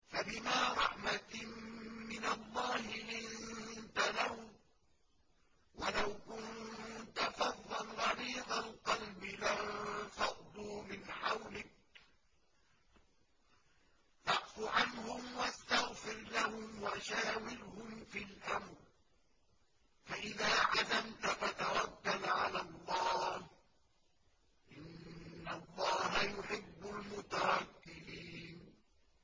فَبِمَا رَحْمَةٍ مِّنَ اللَّهِ لِنتَ لَهُمْ ۖ وَلَوْ كُنتَ فَظًّا غَلِيظَ الْقَلْبِ لَانفَضُّوا مِنْ حَوْلِكَ ۖ فَاعْفُ عَنْهُمْ وَاسْتَغْفِرْ لَهُمْ وَشَاوِرْهُمْ فِي الْأَمْرِ ۖ فَإِذَا عَزَمْتَ فَتَوَكَّلْ عَلَى اللَّهِ ۚ إِنَّ اللَّهَ يُحِبُّ الْمُتَوَكِّلِينَ